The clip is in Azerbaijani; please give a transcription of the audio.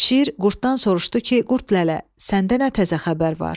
Şir qurddan soruşdu ki, qurd lələ, səndə nə təzə xəbər var?